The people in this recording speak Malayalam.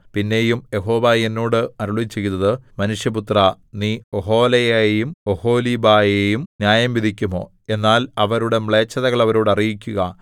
പിന്നെയും യഹോവ എന്നോട് അരുളിച്ചെയ്തത് മനുഷ്യപുത്രാ നീ ഒഹൊലയെയും ഒഹൊലീബയെയും ന്യായംവിധിക്കുമോ എന്നാൽ അവരുടെ മ്ലേച്ഛതകൾ അവരോട് അറിയിക്കുക